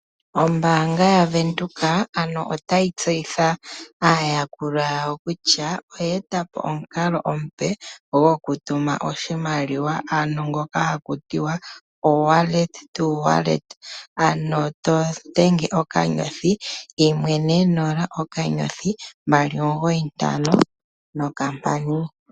Ombaanga ya Windhoek otayi tseyithile aayakulwa kutya ano oye eta ko omukalo omupe gokutuma oshimaliwa kongodhi, ano to dhenge *140*295#